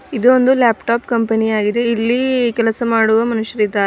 ಇದು ಒಂದು laptop company ಯಾಗಿದೆ ಇಲ್ಲಿ ಕೆಲಸ ಮಾಡುವ ಮನುಷ್ಯರು ಇದ್ದಾರೆ.